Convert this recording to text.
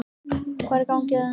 Hvað er í gangi hjá þeim?